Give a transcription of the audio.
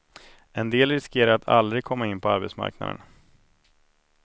En del riskerar att aldrig komma in på arbetsmarknaden.